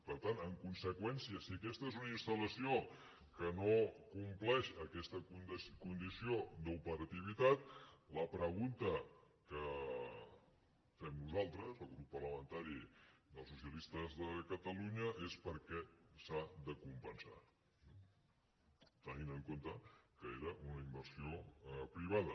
per tant en conseqüència si aquesta és una instal·lació que no compleix aquesta condició d’operativitat la pregunta que fem nosaltres el grup parlamentari dels socialistes de catalunya és per què s’ha de com·pensar tenint en compte que era una inversió privada